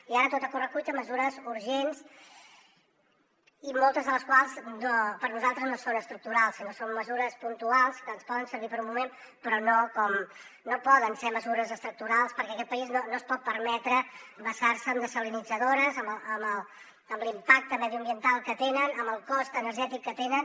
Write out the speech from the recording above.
i ara tot a correcuita mesures urgents i moltes de les quals per nosaltres no són estructurals sinó que són mesures puntuals que ens poden servir per un moment però no poden ser mesures estructurals perquè aquest país no es pot permetre basar se en dessalinitzadores amb l’impacte mediambiental que tenen amb el cost energètic que tenen